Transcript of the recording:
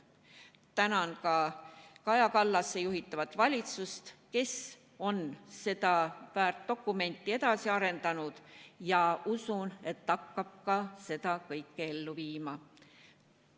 Tänan ka Kaja Kallase juhitavat valitsust, kes on seda väärt dokumenti edasi arendanud, ja usun, et hakkab seda kõike ka ellu viima.